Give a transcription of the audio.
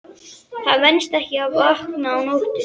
Það venst ekki að vakna á nóttunni.